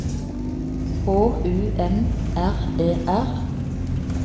H U M R E R